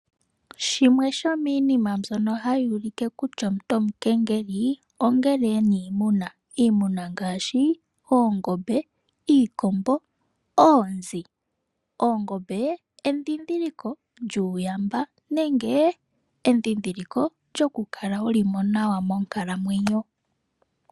Shimwe shomiinima mbyono ha yuulike kutya omuntu uukengeli, ongele e na iimuna. Iimuna ngaashi oongombe, iikombo, oonzi. Oongombe, endhindhiliko lyuuyamba; nenge endhindhiliko lyoku kala wuli mo nawa monkalamwenyo.